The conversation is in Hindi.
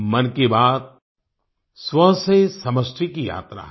मन की बात स्व से समिष्टि की यात्रा है